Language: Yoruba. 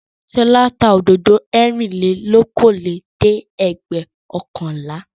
Ṣọlá tá òdòdó ẹ̀rìnlélókòólẹ́ẹ̀dẹ́gbẹ̀ọ̀kànlá.